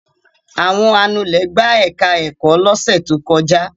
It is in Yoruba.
Àwọn anulẹ̀ gbá ẹ̀ka-ẹ̀kọ́ lọ́sẹ̀ tó kọjá.